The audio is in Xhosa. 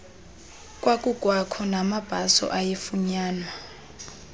kwakukwakho namabhaso ayefunyanwa